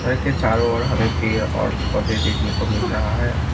चारों ओर हमें पेड़ और पौधे देखने को मिल रहा है।